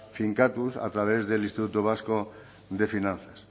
finkatuz a través del instituto vasco de finanzas